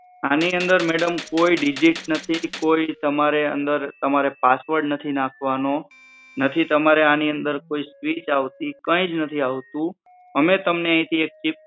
આની અંદર madam કોઈ digit નથી તમારે અંદર password નથી નાખવાનો નથી તમારે આની અંદર કોઈ speech આવતી કંઈજ નથી આવતું